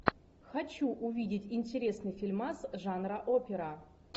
хочу увидеть интересный фильмас жанра опера